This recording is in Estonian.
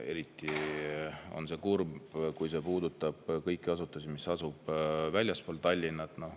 Eriti kurb on see, kui see puudutab asutusi, mis asuvad väljaspool Tallinna.